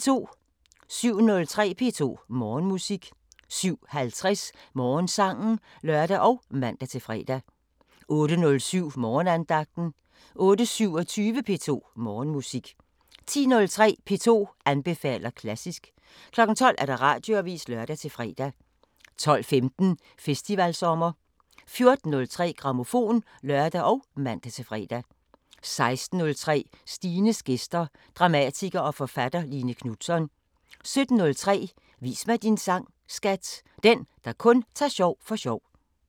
07:03: P2 Morgenmusik 07:50: Morgensangen (lør og man-fre) 08:07: Morgenandagten 08:27: P2 Morgenmusik 10:03: P2 anbefaler klassisk 12:00: Radioavisen (lør-fre) 12:15: Festivalsommer 14:03: Grammofon (lør og man-fre) 16:03: Stines gæster – Dramatiker og forfatter Line Knutzon 17:03: Vis mig din sang, skat! – Den, der kun tager sjov for sjov